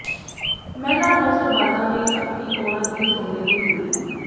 ਮਹਿਲਾ ਨੌਸਰਬਾਜ਼ਾਂ ਨੇ ਝਪਟੀ ਔਰਤ ਦੀ ਸੋਨੇ ਦੀ ਚੂੜੀ